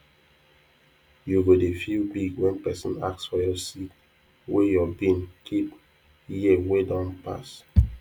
you go dey feel big when person ask for your seed wey your bin keep year wey don pass